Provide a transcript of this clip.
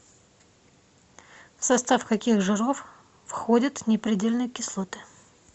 в состав каких жиров входят непредельные кислоты